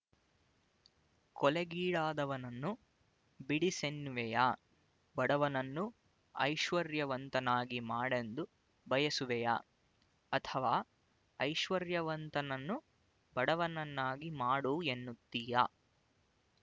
ಕೊಲೆಗೀಡಾದವನನ್ನು ಬಿಡಿಸೆನ್ನುವೆಯ ಬಡವನನ್ನು ಐಶ್ವರ್ಯವಂತನಾಗಿ ಮಾಡೆಂದು ಬಯಸುವೆಯ ಅಥವ ಐಶ್ವರ್ಯವಂತನನ್ನು ಬಡವನನ್ನಾಗಿ ಮಾಡು ಎನ್ನುತ್ತೀಯ